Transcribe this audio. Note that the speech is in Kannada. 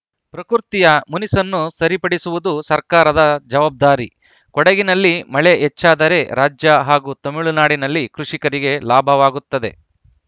ಪ್ರಕೃತಿಯ ಮುನಿಸನ್ನು ಸರಿಪಡಿಸುವುದು ಸರ್ಕಾರದ ಜವಾಬ್ದಾರಿ ಕೊಡಗಿನಲ್ಲಿ ಮಳೆ ಹೆಚ್ಚಾದರೆ ರಾಜ್ಯ ಹಾಗೂ ತಮಿಳುನಾಡಿನಲ್ಲಿ ಕೃಷಿಕರಿಗೆ ಲಾಭವಾಗುತ್ತದೆ